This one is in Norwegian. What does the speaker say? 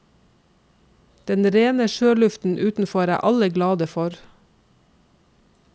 Den rene sjøluften utenfor er alle glade for.